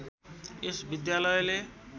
यस विद्यालयले